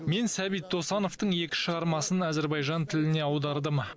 мен сәбит досановтың екі шығармасын әзербайжан тіліне аудардым